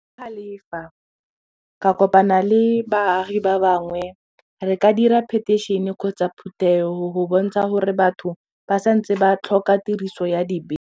ka kopana le baagi ba bangwe re ka dira petition kgotsa phuthego go bontsha gore batho ba santse ba tlhoka tiriso ya dibese.